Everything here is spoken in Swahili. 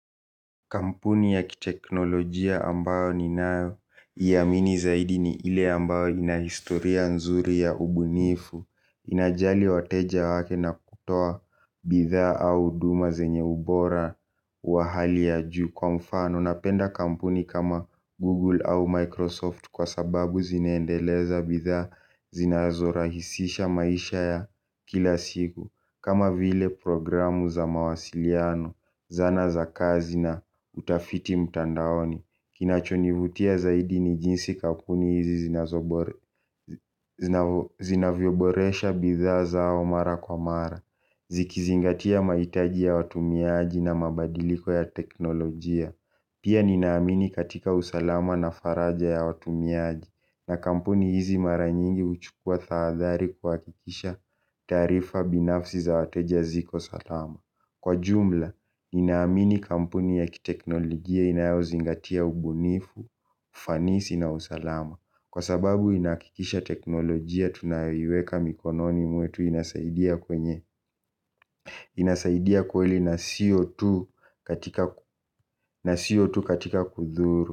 Kampuni ya kiteknolojia ambayo ninayoiamini zaidi ni ile ambayo ina historia nzuri ya ubunifu. Inajali wateja wake na kutoa bidhaa au huduma zenye ubora wa hali ya juu kwa mfano. Napenda kampuni kama Google au Microsoft kwa sababu zineendeleza bidhaa zinazorahisisha maisha ya kila siku. Kama vile programu za mawasiliano, zana za kazi na utafiti mtandaoni kinachonivutia zaidi ni jinsi kampuni hizi zinavyoboresha bidhaa zao mara kwa mara. Zikizingatia mahitaji ya watumiaji na mabadiliko ya teknolojia. Pia ninaamini katika usalama na faraja ya watumiaji. Na kampuni hizi mara nyingi uchukua tahadhali kuhakikisha taarifa binafsi za wateja ziko salama. Kwa jumla, ninaamini kampuni ya kiteknolojia inayozingatia ubunifu, ufanisi na usalama, kwa sababu inahakikisha teknolojia tunayoweka mikononi mwetu inasaidia kwenye inasaidia kweli na sio tu katika kudhuru.